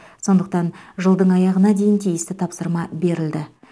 сондықтан жылдың аяғына дейін тиісті тапсырма берілді